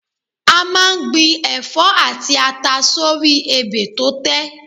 A máa ń gbin ẹ̀fọ́ àti ata sórí ebè tó tẹ́